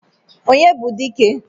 onye bu dike?